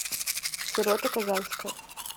сирота казанская